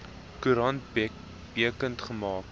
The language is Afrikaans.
koerant bekend gemaak